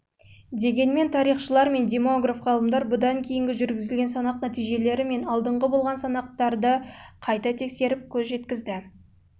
дегенмен тарихшылар мен демограф ғалымдар бұдан кейінгі жүргізілген санақ нәтижелері мен алдыңғы болған санақтарды және көшіп